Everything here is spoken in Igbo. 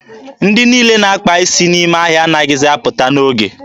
Ndị niile na-akpa isi n'ime ahịa anaghịzi apụta n'oge.